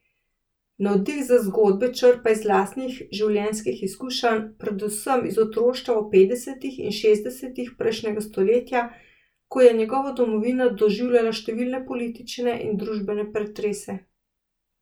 Navdih za zgodbe črpa iz lastnih življenjskih izkušenj, predvsem iz otroštva v petdesetih in šestdesetih prejšnjega stoletja, ko je njegova domovina doživljala številne politične in družbene pretrese.